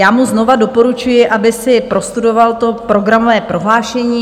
Já mu znovu doporučuji, aby si prostudoval to programové prohlášení.